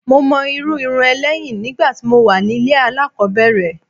Mo mọ irú irun ẹ lẹ́yìn nígbà tí mo wà ní ilé alákòbẹ̀rẹ̀.